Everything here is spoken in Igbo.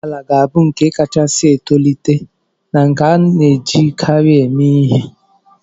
Ụgbọ ala ga-abụ nke kachasị etolite na nke a na-ejikarị eme ihe.